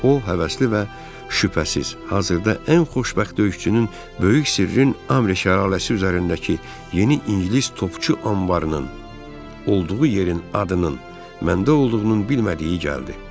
O həvəsli və şübhəsiz, hazırda ən xoşbəxt döyüşçünün böyük sirrin amre şəlaləsi üzərindəki yeni ingilis topçu anbarının olduğu yerin adının məndə olduğunun bilmədiyi gəldi.